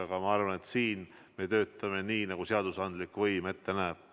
Aga ma arvan, et siin me töötame nii, nagu seadusandlik võim ette näeb.